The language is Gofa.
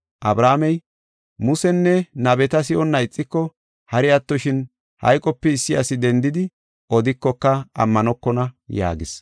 “Abrahaamey, ‘Musenne nabeta si7onna ixiko, hari attoshin hayqope issi asi dendi odikoka ammanokona’ yaagis.”